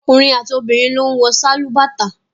Ọkùnrin àti obìnrin ló ń wọ sálúbàtà.